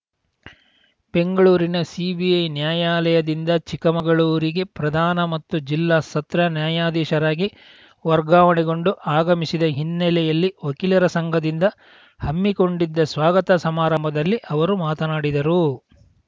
ಬೆಂಗಳೂರಿನ ಸಿಬಿಐ ನ್ಯಾಯಾಲಯದಿಂದ ಚಿಕ್ಕಮಗಳೂರಿಗೆ ಪ್ರಧಾನ ಮತ್ತು ಜಿಲ್ಲಾ ಸತ್ರ ನ್ಯಾಯಾಧೀಶರಾಗಿ ವರ್ಗಾವಣೆಗೊಂಡು ಆಗಮಿಸಿದ ಹಿನ್ನೆಲೆಯಲ್ಲಿ ವಕೀಲರ ಸಂಘದಿಂದ ಹಮ್ಮಿಕೊಂಡಿದ್ದ ಸ್ವಾಗತ ಸಮಾರಂಭದಲ್ಲಿ ಅವರು ಮಾತನಾಡಿದರು